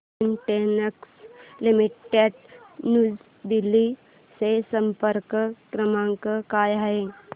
Den networks limited new Delhi चा संपर्क क्रमांक काय आहे